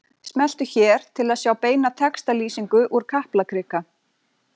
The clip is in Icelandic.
Smelltu hér til að sjá beina textalýsingu úr Kaplakrika